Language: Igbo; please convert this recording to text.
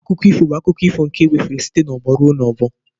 Akụkọ ifo bụ akụkọ ifo nke ewefere site n'ọgbọ ruo n'ọgbọ